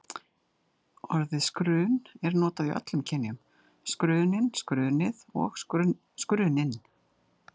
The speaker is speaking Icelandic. Orðið skurn er notað í öllum kynjum: skurnin, skurnið og skurninn.